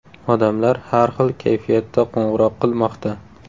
Odamlar har xil kayfiyatda qo‘ng‘iroq qilmoqda.